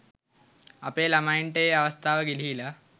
අපේ ලමයින්ට ඒ අවස්ථාව ගිලිහිලා.